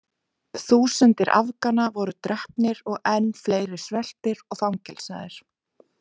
Þúsundir Afgana voru drepnar og enn fleiri sveltir og fangelsaðir.